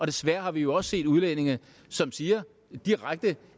desværre vi også set udlændinge som siger direkte